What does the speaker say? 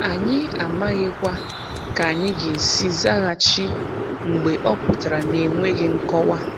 Anyị amaghikwa ka anyị ga-esi zaghachi mgbe ọ pụtara na-enweghị nkọwa.